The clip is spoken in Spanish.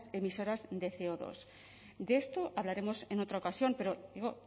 emisoras de ce o dos de esto hablaremos en otra ocasión pero digo